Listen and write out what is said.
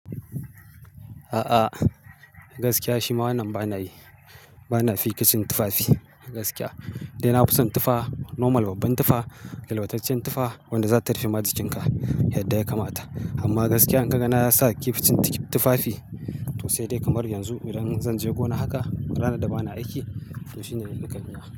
A'a, gaskiya shi ma wannan ba na yi, ba na fiƙa cin tufafi gaskiya. Nidai nafison tufah, normal babban tufah, yalwataccen tufah wanda za ta rufe majikinka, yadda ya kamata. Amma gaskiya in ka ga na sa kif cin tufafi to sai dai kamar yanzu idan zan je gona haka, rana da ba na aiki to shi ne yadda ke yi.